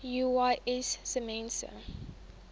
uys sê mense